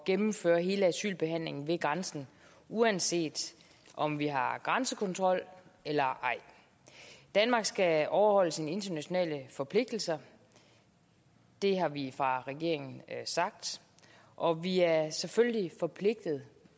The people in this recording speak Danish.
gennemføre hele asylbehandlingen ved grænsen uanset om vi har grænsekontrol eller ej danmark skal overholde sine internationale forpligtelser det har vi fra regeringen og vi er selvfølgelig forpligtet